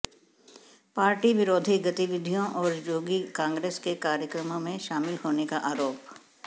party विरोधी गतिविधियों और जोगी कांग्रेस के कार्यक्रमों में शामिल होने का आरोप